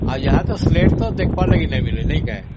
ଆଉ ଏବେ ତ ସିଲଟ ଦେଖିବା ଲାଗି ମିଳୁନି ନାଇଁ କି